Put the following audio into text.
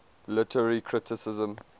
literary criticism